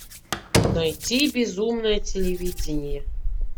найти безумное телевидение